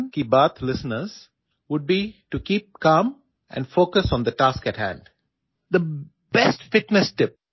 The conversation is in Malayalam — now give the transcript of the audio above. എല്ലാ മൻ കീ ബാത് ശ്രോതാക്കൾക്കുമുള്ള എന്റെ ഫിറ്റ്നസ് ടിപ്പ് ശാന്തത പാലിക്കുക നമുക്കു മുന്നിലുള്ള ജോലിയിൽ ശ്രദ്ധ കേന്ദ്രീകരിക്കുക എന്നിവയാണ്